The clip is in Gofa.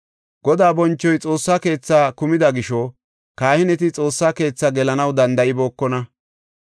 Godaa bonchoy Xoossa keethaa kumida gisho kahineti Xoossa keethaa gelanaw danda7ibookona.